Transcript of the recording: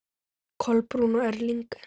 Kolbrún og Erling.